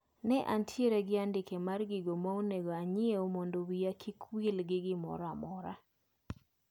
Ne antiere gi andike mar gigo maonego anyiew mondo wiya kik wil gi gimoramora.